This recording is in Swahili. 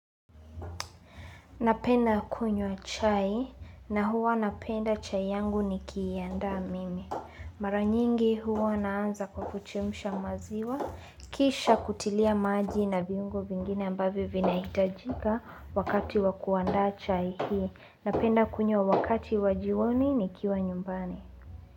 Napenda kunywa chai na huwa napenda chai yangu nikiiandaa mimi. Mara nyingi huwa naanza kwa kuchemsha maziwa. Kisha kutilia maji na viungo vingine ambavyo vinahitajika wakati wa kuandaa chai hii. Napenda kunywa wakati wa jioni nikiwa nyumbani.